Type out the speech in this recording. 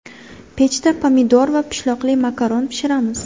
Pechda pomidor va pishloqli makaron pishiramiz.